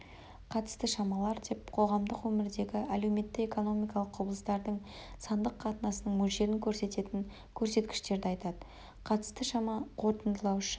қатысты шамалар деп қоғамдық өмірдегі әлеуметтік-экономикалық құбылыстардың сандық қатынасының мөлшерін көрсететін көрсеткіштерді айтады қатысты шама қорытындылаушы